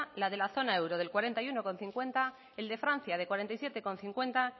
la de la zona euro del cuarenta y uno coma cincuenta el de francia de cuarenta y siete coma cincuenta